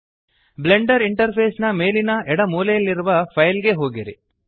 Blender interface ನ ಮೇಲಿನ ಎಡ ಮೂಲೆಯಲ್ಲಿರುವ ಫೈಲ್ ಗೆ ಹೋಗಿರಿ